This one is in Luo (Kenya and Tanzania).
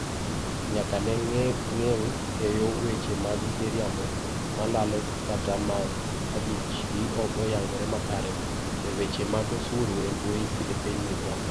nyaka ne geng' keyo weche mag miriambo, malalo kata ma adiechgi ok oyangore makare, e weche mag osuru embui epiny Uganda.